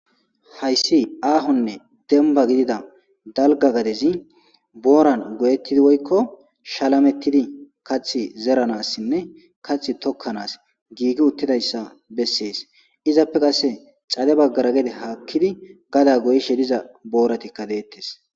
Hayssi aahonne demba gidida dalga gadezi booran goyettidi woykko shalametidi kath zeranassinne kath tokkanaas giigi uttidayssa bessees izappe qasse cade baggara gede haakkidi gada goyishe diza booratikka deettes.